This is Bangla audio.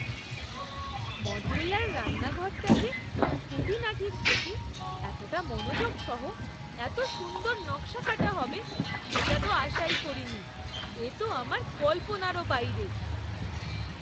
মডিউলার রান্নাঘরটা যে খুঁটিনাটির প্রতি এতটা মনোযোগ সহ এত সুন্দর নকশাকাটা হবে সেটা তো আশাই করিনি! এ তো আমার কল্পনারও বাইরে‌!